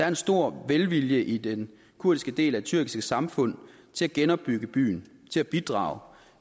en stor velvilje i den kurdiske del af det tyrkiske samfund til at genopbygge byen til at bidrage